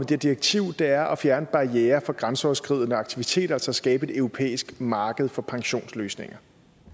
det direktiv er at fjerne barrierer for grænseoverskridende aktiviteter og så skabe et europæisk marked for pensionsløsninger